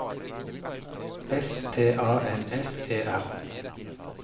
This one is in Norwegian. S T A N S E R